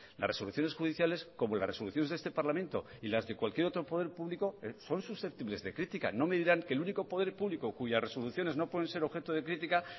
las resoluciones judiciales como las resoluciones de este parlamento y las de cualquier otro poder público son susceptibles de crítica no me dirán que el único poder público cuyas resoluciones no pueden ser objeto de crítica